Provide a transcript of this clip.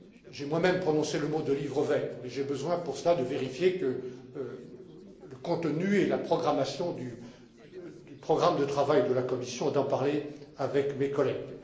J'ai moi même prononcé le mot livre vert mais j'ai besoin, pour cela, de vérifier le contenu et la programmation du programme de travail de la Commission et d'en parler avec mes collègues.